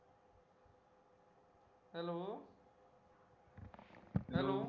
hello hello